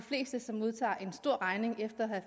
fleste som modtager en stor regning efter at